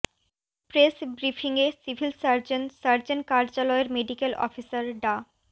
press ব্রিফিংয়ে civil surgeon surgeon কার্যালয়ের medical officer ডা